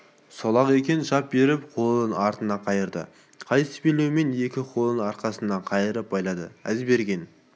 сол-ақ екен шап беріп қолын артына қайырды қайыс белбеумен екі қолын арқасына қайырып байлады әзберген